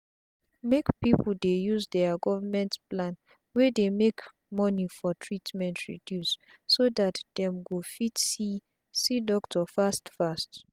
make pipu dey use dia government plan wey dey make money for treatment reduce so dat dem go fit see see doctor fast fast